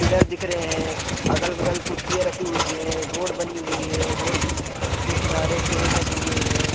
Pillar दिख रहे हैं अगल-बगल कुर्सियां रखी हुई है रोड बनी हुई है रोड के किनारे पेड़ लगे हुए हैं।